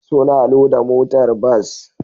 Suna loda motar bas